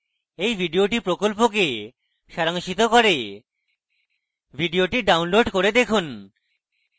এই video প্রকল্পকে সারাংশিত করে video download করে দেখুন